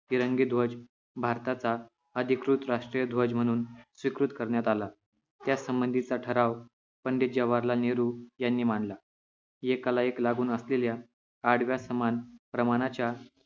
तिरंगीं ध्वज भारताच्या अधिकृत राष्ट्रीय ध्वज म्हणून स्वीकृत करण्यात आला त्यासंबंधीचा ठराव पंडित जवाहरलाल नेहरू यांनी मांडला एकालाएक लागून असलेल्या आडव्या समाज प्रमाणाच्या